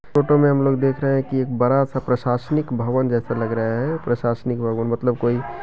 Photo में हम लोग देख रहे हैं कि एक बड़ा सा प्रशासनिक भवन जैसा लग रहा है। प्रशासनिक भवन मतलब कोई--